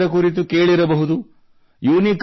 ತಾವೆಲ್ಲರೂ ಇದರ ಕುರಿತು ಕೇಳಿರಬಹುದು